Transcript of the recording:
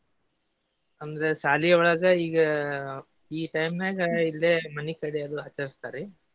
ಅಂದ್ರೆ ಶಾಲಿಯೊಳಗ ಈಗ ಈ time ನ್ಯಾಗ ಇಲ್ಲೇ ಮನಿಕಡೆ ಎಲ್ಲ ಆಚರಿಸ್ತಾರೆ.